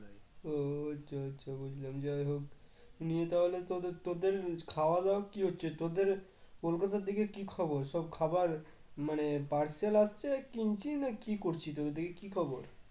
ও আচ্ছা আচ্ছা বুঝলাম যাই হোক নিয়ে তাহলে তোদের তোদের খাওয়া দাওয়া কি হচ্ছে তোদের কলকাতার দিকে কি খবর? সব খাবার মানে parcel আসছে কিনছিস না কি করছিস ওদিকে কি খবর?